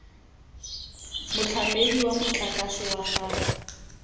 motlamedi wa motlakase wa gago